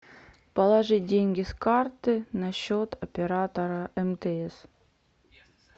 положить деньги с карты на счет оператора мтс